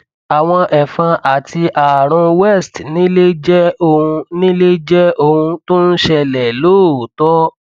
àwọn ẹfọn àti ààrùn west nile jẹ ohun nile jẹ ohun tó ń ṣẹlẹ lóòótọ